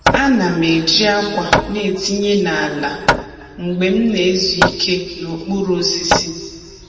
A na'm eji akwa na etinye n’ala mgbe m na-ezu ike n’okpuru osisi.